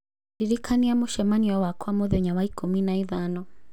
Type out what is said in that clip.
Ndĩrikania mũcemanio wakwa mũthenya wa ikũmi na ithano